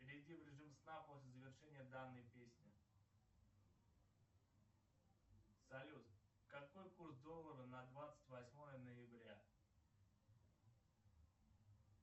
перейди в режим сна после завершения данной песни салют какой курс доллара на двадцать восьмое ноября